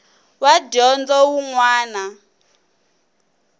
wa dyondzo wun wana na